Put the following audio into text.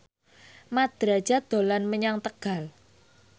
Mat Drajat dolan menyang Tegal